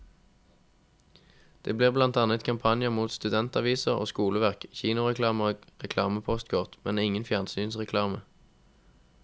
Det blir blant annet kampanjer mot studentaviser og skoleverk, kinoreklame og reklamepostkort, men ingen fjernsynsreklame.